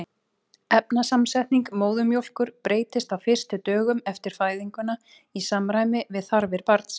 efnasamsetning móðurmjólkur breytist á fyrstu dögum eftir fæðinguna í samræmi við þarfir barnsins